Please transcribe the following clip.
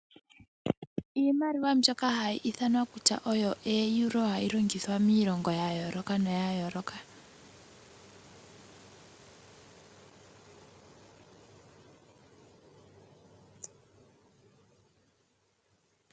Iimaliwa mbyoka hayi ithanwa ooEuro hayi longithwa miilongo ya yooloka.